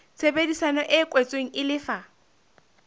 tshebedisano e kwetsweng e lefa